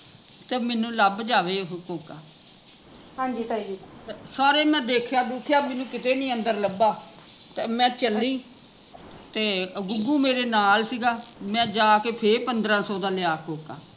ਤੇ ਮੈਂਨੂੰ ਲੱਭ ਜਾਵੇ ਉਹ ਕੋਕਾ ਸਾਰੇ ਮੈਂ ਦੇਖਿਆ ਦੁਖਿਆ ਮੈਂਨੂੰ ਕਿਤੇ ਨੀ ਅੰਦਰ ਲੱਭਾ ਤੇ ਮੈਂ ਚੱਲੀ ਤੇ ਗੁਗੂ ਮੇਰੇ ਨਾਲ਼ ਸੀਗਾ ਮੈਂ ਜਾ ਕੇ ਫੇਰ ਪੰਦਰਾਂ ਸੋ ਦਾ ਲਿਆ ਕੋਕਾ